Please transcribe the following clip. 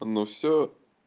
ну все